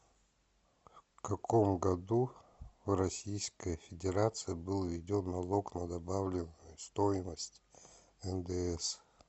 в каком году в российской федерации был введен налог на добавленную стоимость ндс